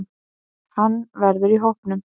Hann verður í hópnum.